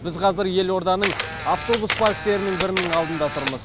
біз қазір елорданың автобус парктерінің бірінің алдында тұрмыз